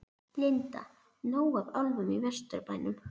Linda: Nóg af álfum í Vesturbænum?